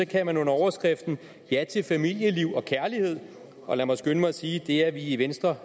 kan man under overskriften ja til familieliv og kærlighed og lad mig skynde mig at sige at det er vi i venstre